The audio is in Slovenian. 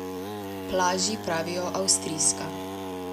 Plaži pravijo avstrijska.